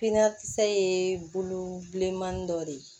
Piniakisɛ ye bulon bilenmani dɔ de ye